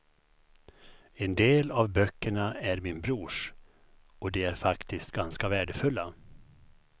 En del av böckerna är min brors, och de är faktiskt ganska värdefulla.